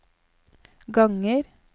ganger